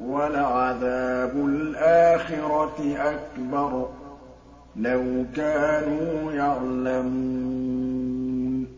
وَلَعَذَابُ الْآخِرَةِ أَكْبَرُ ۚ لَوْ كَانُوا يَعْلَمُونَ